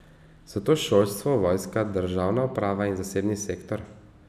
So to šolstvo, vojska, državna uprava, zasebni sektor?